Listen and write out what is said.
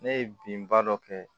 Ne ye bin ba dɔ kɛ